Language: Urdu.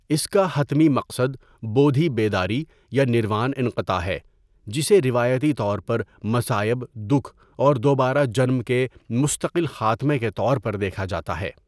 اس کا حتمی مقصد بودھی بیداری یا نروان انقطاع ہے، جسے روایتی طور پر مصائب دکھ اور دوبارہ جنم کے مستقل خاتمے کے طور پر دیکھا جاتا ہے.